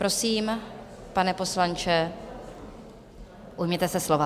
Prosím, pane poslanče, ujměte se slova.